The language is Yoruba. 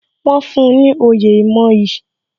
Wọn fún ní oyè ìmoyì